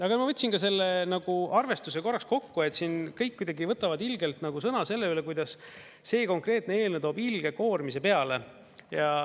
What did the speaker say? Aga ma võtsin ka selle arvestuse korraks kokku, et siin kõik kuidagi võtavad ilgelt sõna selle üle, kuidas see konkreetne eelnõu toob ilge koormise peale.